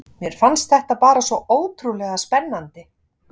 Mér fannst þetta bara svo ótrúlega spennandi.